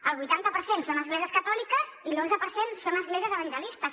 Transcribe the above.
el vuitanta per cent són esglésies catòliques i l’onze per cent són esglésies evangelistes